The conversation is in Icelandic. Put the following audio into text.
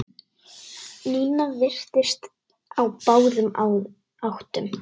Nína virtist á báðum áttum.